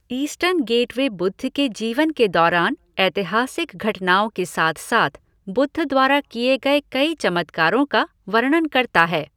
Eastern gateway Buddha के जीवन के दौरान ऐतिहासिक घटनाओं के साथ साथ बुद्ध द्वारा किए गए कई चमत्कारों का वर्णन करता है।